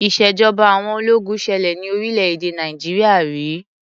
Ìṣèjọba àwọn ológun ṣẹlẹ ní orílẹ̀-èdè Nàìjíríà ri.